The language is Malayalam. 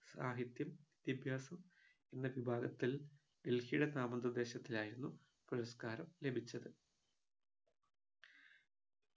സാഹിത്യം വിദ്യാഭ്യാസം എന്ന വിഭാഗത്തിൽ ഡൽഹിയുടെ നാമനിർദേശത്തിലായിരുന്നു പുരസ്‌കാരം ലഭിച്ചത്